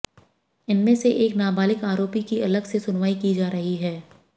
इनमें से एक नाबालिग आरोपी की अलग से सुनवाई की जा रही है